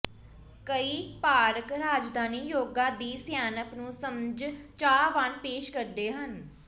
ਕਈ ਪਾਰਕ ਰਾਜਧਾਨੀ ਯੋਗਾ ਦੀ ਸਿਆਣਪ ਨੂੰ ਸਮਝ ਚਾਹਵਾਨ ਪੇਸ਼ ਕਰਦੇ ਹਨ